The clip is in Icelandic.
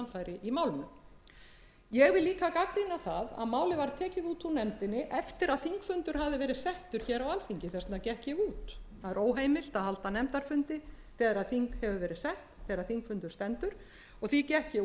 framfæri í málinu ég vil líka gagnrýna að málið var tekið út úr nefndinni eftir að þingfundur hafði verið settur á alþingi þess vegna gekk ég út það er óheimilt að halda nefndarfundi þegar þingfundur stendur og því gekk ég út og